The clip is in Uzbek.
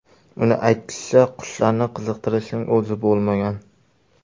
Uning aytishicha, qushlarni qiziqtirishning o‘zi bo‘lmagan.